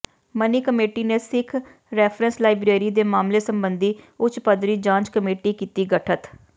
ਮਣੀ committee ਨੇ Sikh reference library ਦੇ ਮਾਮਲੇ ਸਬੰਧੀ ਉੱਚ ਪੱਧਰੀ ਜਾਂਚ ਕਮੇਟੀ ਕੀਤੀ ਗਠਤ